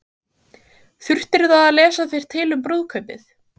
Jóhanna Margrét Gísladóttir: Þurftirðu að lesa þér til um brúðkaupið?